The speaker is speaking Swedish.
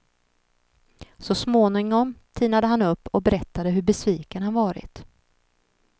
Så smångom tinade han upp och berättade hur besviken han varit.